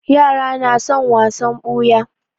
Yara na son wasan ɓuya.